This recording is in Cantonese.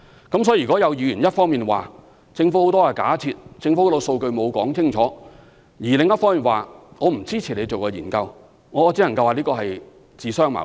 因此，若有議員一方面指政府很多假設和數據沒有依據，但另一方面又不支持我們進行研究，我只能說這是自相矛盾。